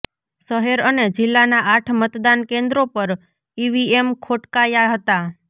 શહેર અને જિલ્લાના આઠ મતદાન કેન્દ્રો પર ઇવીએમ ખોટકાયા હતા